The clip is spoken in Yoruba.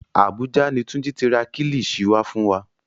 Àbújá ni Túnjí ti ra kílìṣí wá fún wa